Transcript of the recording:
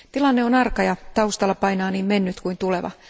Tilanne on arka ja taustalla painaa niin mennyt kuin tuleva.